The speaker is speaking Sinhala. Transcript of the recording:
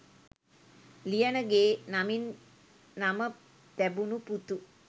ලියනගේ නමින් නම තැබුණු පුතු